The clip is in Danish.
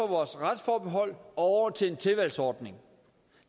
vores retsforbehold og til en tilvalgsordning